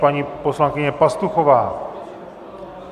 Paní poslankyně Pastuchová.